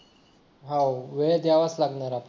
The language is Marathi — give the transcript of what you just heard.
हो वेळ द्यावाच लागणार आपल्याला